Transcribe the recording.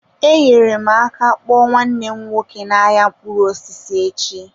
Enyere m aka akpọ nwanne m nwoke n'ahịa mkpụrụ osisi echi.